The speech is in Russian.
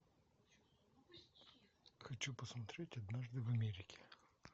хочу посмотреть однажды в америке